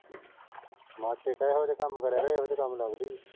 ਮਾਸੀ ਨੂੰ ਕਹਿ ਇਹੋ ਜਿਹੇ ਕੰਮ ਕਰਿਆ ਕਰ। ਇਹ ਇਹੋ ਜਿਹੇ ਕੰਮ ਲੱਭਦੀ ਐ।